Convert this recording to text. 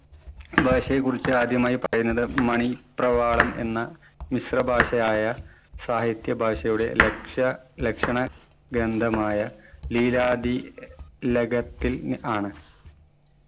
ഭാഷയെക്കുറിച്ച് ആദ്യമായി പറയുന്നത് മണി പ്രവാളം എന്ന മിശ്രഭാഷയായ സാഹിത്യ ഭാഷയുടെ ലക്ഷ്യ ലക്ഷണ ഗ്രന്ഥമായ നീരാദി ലഖത്തിൽ ആണ്.